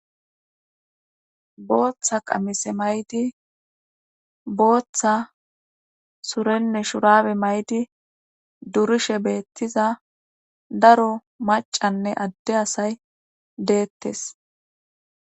Booththa qamise maydi booththa surenne shurabe maydi durishe beettiza daro macanne adde asay deettes.